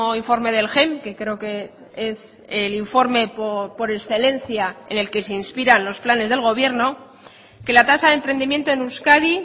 informe del gem que creo que es el informe por excelencia en el que se inspiran los planes del gobierno que la tasa de emprendimiento en euskadi